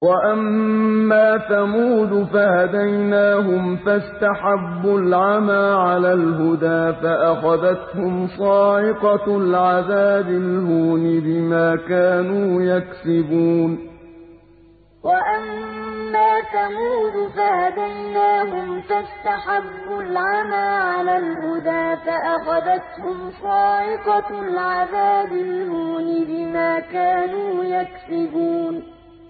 وَأَمَّا ثَمُودُ فَهَدَيْنَاهُمْ فَاسْتَحَبُّوا الْعَمَىٰ عَلَى الْهُدَىٰ فَأَخَذَتْهُمْ صَاعِقَةُ الْعَذَابِ الْهُونِ بِمَا كَانُوا يَكْسِبُونَ وَأَمَّا ثَمُودُ فَهَدَيْنَاهُمْ فَاسْتَحَبُّوا الْعَمَىٰ عَلَى الْهُدَىٰ فَأَخَذَتْهُمْ صَاعِقَةُ الْعَذَابِ الْهُونِ بِمَا كَانُوا يَكْسِبُونَ